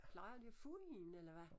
Plejer de at få en eller hvad?